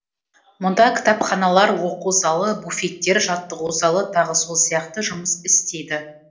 мұнда кітапханалар оқу залы буфеттер жаттығу залы тағы сол сияқты жұмыс істейді